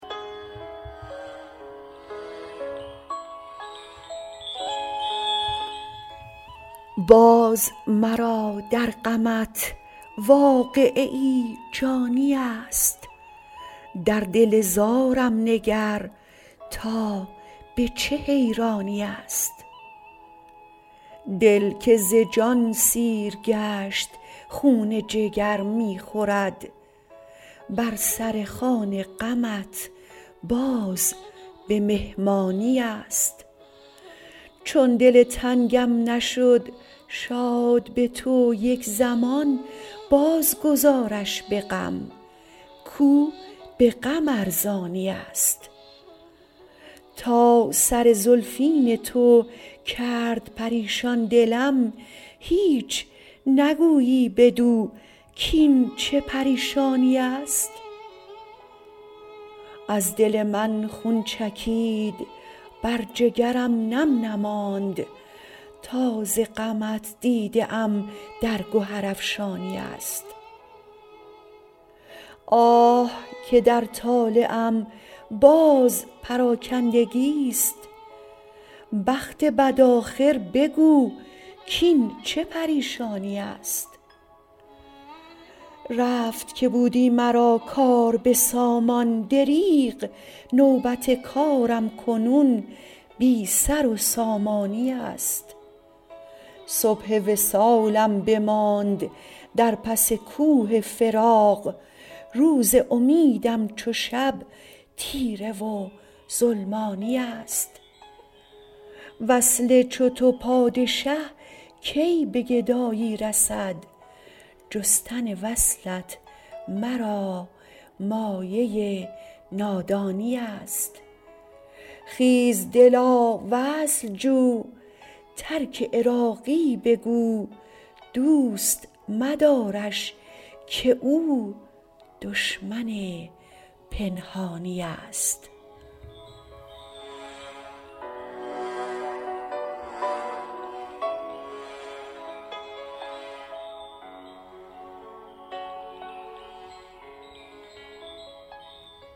باز مرا در غمت واقعه جانی است در دل زارم نگر تا به چه حیرانی است دل که ز جان سیر گشت خون جگر می خورد بر سر خوان غمت باز به مهمانی است چون دل تنگم نشد شاد به تو یک زمان باز گذارش به غم کو به غم ارزانی است تا سر زلفین تو کرد پریشان دلم هیچ نگویی بدو کین چه پریشانی است از دل من خون چکید بر جگرم نم نماند تا ز غمت دیده ام در گهر افشانی است آه که در طالعم باز پراکندگی است بخت بد آخر بگو کین چه پریشانی است رفت که بودی مرا کار به سامان دریغ نوبت کارم کنون بی سر و سامانی است صبح وصالم بماند در پس کوه فراق روز امیدم چو شب تیره و ظلمانی است وصل چو تو پادشه کی به گدایی رسد جستن وصلت مرا مایه نادانی است خیز دلا وصل جو ترک عراقی بگو دوست مدارش که او دشمن پنهانی است